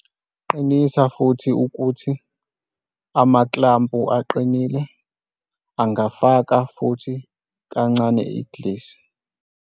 Qinisa ukuthi amakhlampu aqinile, angafaka futhi kancane igrisi.